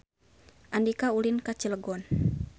Andika ulin ka Cilegon